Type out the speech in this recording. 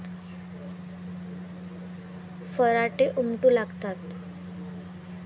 फराटे उमटू लागतात.